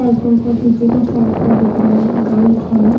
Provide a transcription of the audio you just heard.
Cycle का पीछे का साइड का दिख रहा है बाइक है ।